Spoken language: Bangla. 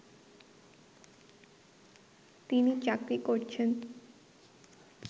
তিনি চাকরি করছেন